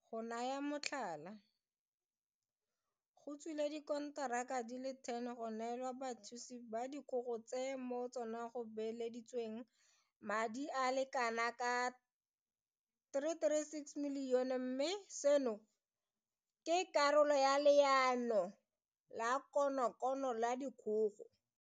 Go naya motlhala, go tswile dikonteraka di le 10 go neelwa bathuthusi ba dikgogo tse mo go tsona go beeleditsweng madi a le kana ka R336 milione mme seno ke karolo ya Leano la konokono la dikgogo.